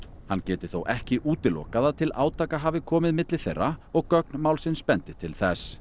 hann geti þó ekki útilokað að til átaka hafi komið milli þeirra og gögn málsins bendi til þess